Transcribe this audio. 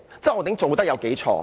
周浩鼎議員有多錯？